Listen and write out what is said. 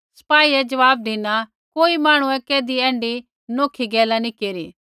सपाईए ज़वाब धिना कोई मांहणुऐ कैधी ऐण्ढी नौखी गैला नी केरी